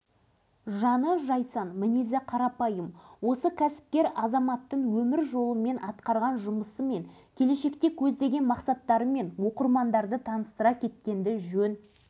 жетісу жерінде агроөндірістік кешенді дамытуға атсалысып жүрген алашыбай баймырзаевты елі үшін сіңірген еңбегімен бағаласаңыз қандай марапатқа да лайық